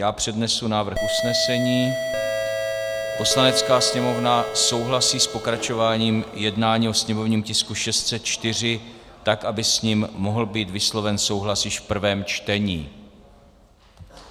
Já přednesu návrh usnesení: "Poslanecká sněmovna souhlasí s pokračováním jednání o sněmovním tisku 604 tak, aby s ním mohl být vysloven souhlas již v prvém čtení.